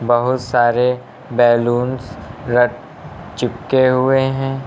बहुत सारे बैलूनस रख चिपके हुए है।